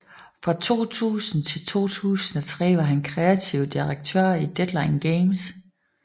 Fra 2000 til 2003 var han kreativ direktør i Deadline Games